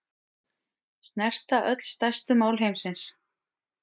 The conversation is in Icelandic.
Snerta öll stærstu mál heimsins